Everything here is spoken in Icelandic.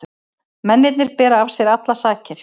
Mennirnir bera af sér allar sakir